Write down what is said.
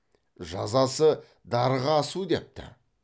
жазасы дарға асу депті